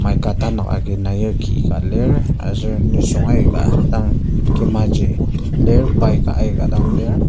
Mica tanak agi nair ki ka lir aser nisung aika dang lir kimaju lir bike a aikadang lir.